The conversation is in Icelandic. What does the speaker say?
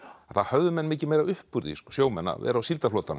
þá höfðu menn mikið meira upp úr því sjómenn að vera á